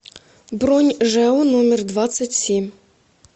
бронь жэу номер двадцать семь